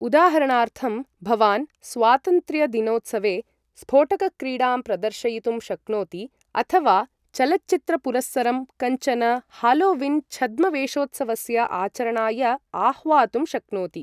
उदाहरणार्थम्, भवान् स्वातन्त्र्यदिनोत्सवे स्फोटकक्रीडां प्रदर्शयितुं शक्नोति अथ वा चलचित्रपुरस्सरं कञ्चन हालोवीन् छद्मवेषोत्सवस्य आचरणाय आह्वातुं शक्नोति।